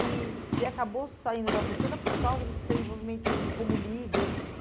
E você acabou saindo da Vulcana por causa de seu envolvimento como líder.